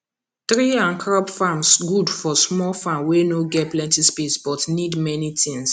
tree and crop farm good for small farm wey no get plenty space but need many things